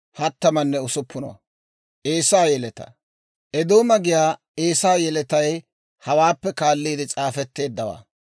Eedooma giyaa Eesaa yeletay hawaappe kaalliide s'aafetteeddawaa.